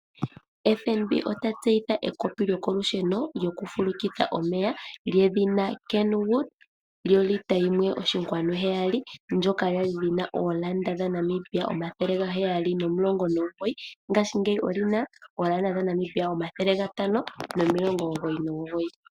FNB ota tseyitha ekopi lyoko lusheno djoku fulukitha omeya djedhina Kenwood djolita yimwe oshinkwanu heyali, ndjoka yali yina oolanda dha Namibia 719, ngaashingeyi odjina oolanda dha Namibia 599.